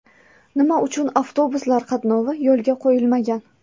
Nima uchun avtobuslar qatnovi yo‘lga qo‘yilmagan?